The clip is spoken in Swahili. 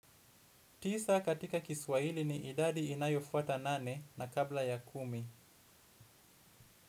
Tisa katika Kiswahili ni idadi inayofuata nane na kabla ya kumi.